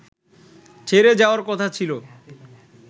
ছেড়ে যাওয়ার কথা ছিলো